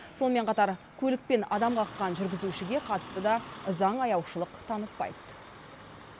сонымен қатар көлікпен адам қаққан жүргізушіге қатысты да заң аяушылық танытпайды